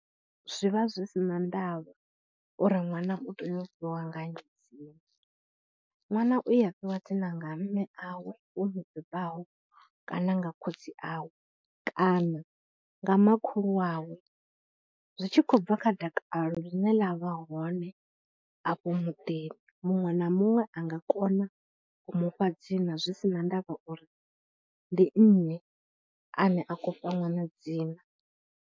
Zwi vha zwi si na ndavha uri ṅwana u tea u fhiwa nga nnyi dzina. Ṅwana u ya fhiwa dzina nga mme awe vho mu bebaho kana nga khotsi awe kana nga makhulu wawe, zwi tshi khou bva kha dakalo ḽine ḽa vha hone afho muḓini. Muṅwe na muṅwe a nga kona u mu fha dzina zwi si na ndavha uri ndi nnyi ane a khou fha ṅwana dzina.